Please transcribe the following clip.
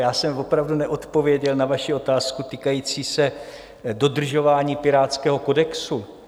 Já jsem opravdu neodpověděl na vaši otázku týkající se dodržování pirátského kodexu.